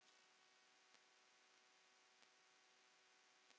Elsku Hilli afi minn.